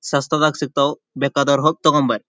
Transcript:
ಸಸ್ತಾದಗ ಸಿಗ್ತಾವು ಬೇಕಾದವರು ಹೋಗಿ ತಗೊಂಬರೀ.